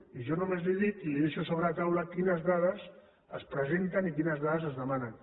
i jo només li dic i li ho deixo sobre la taula quines dades es presenten i quines dades es demanen